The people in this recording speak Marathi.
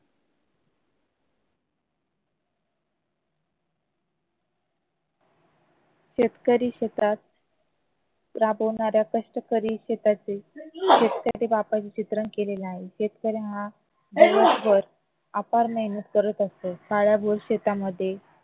शेतकरी शेतात राबणाऱ्या कष्ट करीत शेताचे शेतकरी बापाचे चित्रण केलेलं आहे शेतकरी हा दिवसभर अपार मेहनत करत असतो काळ्या भोर शेतामध्ये